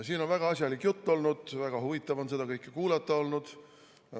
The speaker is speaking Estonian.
Siin on väga asjalik jutt olnud, väga huvitav on seda kõike kuulata olnud.